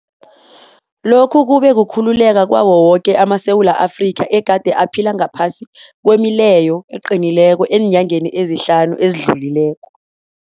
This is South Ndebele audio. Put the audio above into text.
Lokhu kube kukhululeka kwawo woke amaSewula Afrika egade aphila ngaphasi kwemileyo eqinileko eenyangeni ezihlanu ezidlulileko.